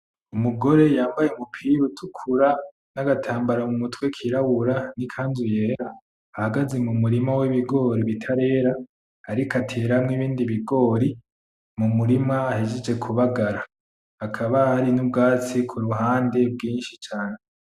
Umugore yambaye umupira utukura n,agatambara mu mutwe kirabura n'ikanzu yera ahagaze mu murima w'ibigori bitarera ariko ateramwo ibindi bigori mu murima ahejeje kubagara hakaba hari n'ubwatsi ku ruhande bwinshi cane .